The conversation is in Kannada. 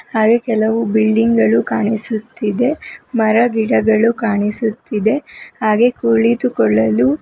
ಹಾಗೆ ಕೆಲವು ಬಿಲ್ಡಿಂಗ್ ಗಳು ಕಾಣಿಸುತ್ತಿದೆ ಮರ ಗಿಡಗಳು ಕಾಣಿಸುತ್ತಿದೆ ಹಾಗೆ ಕುಳಿತುಕೊಳ್ಳಲು--